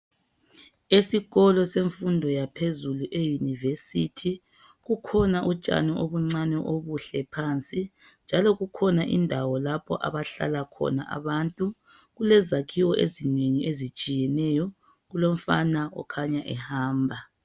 Esikolo semfundo yaphezulu eYunivesithi kukhona utshani obuncane obuhle phansi. Njalo kukhona indawo lapho abahlala khona abantu. Kulezakhiwo ezinengi ezitshiyeneyo. Kulomfana okhanya ehamba.